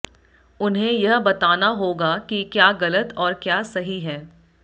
उन्हें यह बताना होगा कि क्या गलत और क्या सही है